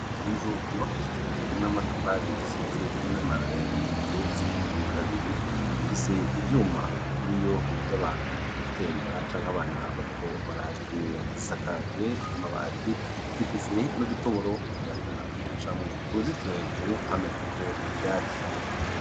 Inzu yubakishijwe n'amatafari isize n'amarangi, igeretse kabiri ifise ibyuma kuri iyo bibuze abantu gutemba cyanke abana bariko barahakinera gisakaje amabati zifise no dutoboro umuyaga ucamu kunuzitiro hejero hameze ko ibyatsi.